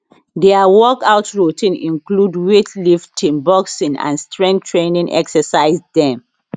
dia workout routine include weightlifting boxing and strength training exercise dem